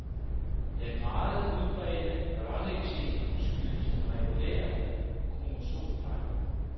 Den meget udbredte børneeksem skyldes en regulær kromosomfejl.